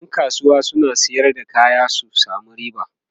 ƴan kasuwa suna Sayar da kaya su samu riba